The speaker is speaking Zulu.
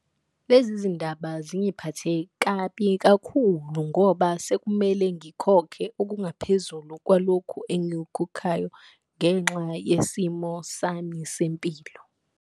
Lezi zindaba zingiphathe kabi kakhulu ngoba sekumele ngikhokhe okungaphezulu kwalokhu engikukhokhayo, ngenxa yesimo sami sempilo.